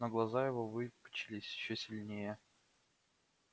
но глаза его выпучились ещё сильнее